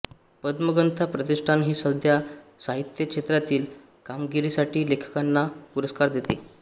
पद्मगंधा प्रतिष्ठान ही संस्था साहित्य क्षेत्रातील कामगिरीसाठी लेखकांना पुरस्कार देते